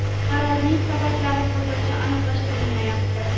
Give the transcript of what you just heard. Qarorning sabablari hozircha aniqlashtirilmayapti.